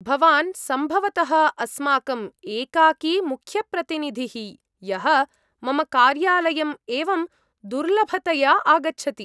भवान् सम्भवतः अस्माकं एकाकी मुख्यप्रतिनिधिः, यः मम कार्यालयम् एवं दुर्लभतया आगच्छति।